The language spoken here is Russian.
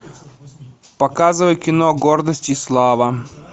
показывай кино гордость и слава